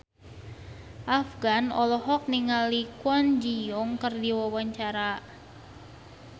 Afgan olohok ningali Kwon Ji Yong keur diwawancara